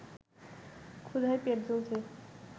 ক্ষুধায় পেট জ্বলছে